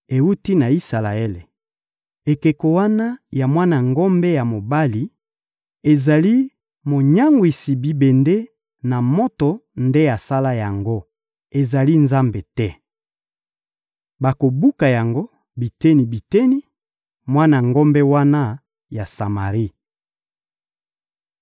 Ewuti na Isalaele! Ekeko wana ya mwana ngombe ya mobali, ezali monyangwisi bibende na moto nde asala yango; ezali Nzambe te. Bakobuka yango biteni-biteni, mwana ngombe wana ya Samari.